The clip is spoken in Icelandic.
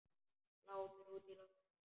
Glápir útí loftið.